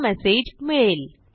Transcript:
हा मेसेज मिळेल